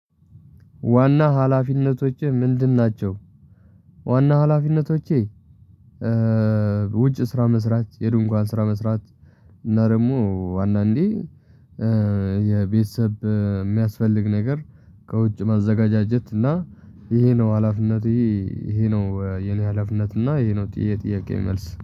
ዋና ሀላፊነቶቼ ምንድን ናቸው? ዋና ሀላፊነቶቼ ውጭ ስራ መስራት የድንኳን ስራ መስራት። እና ደግሞ አንዳንዴ የቤተሰብ የሚያስፈልግ ነገር ከውጭ ማዘገጃጀት እና ይሄ ነው ሀላፊነቴ። ይሄ ነው የኔ ሀላፊነት። እና ይሄ ነው ጥ የጥያቄዬ መልስ